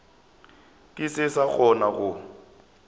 ke se sa kgona go